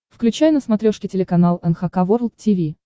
включай на смотрешке телеканал эн эйч кей волд ти ви